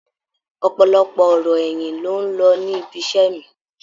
Ọ̀pọ̀lọpọ̀ ọ̀rọ̀ ẹ̀yìn ló ń lọ ní ibiṣẹ́ mi.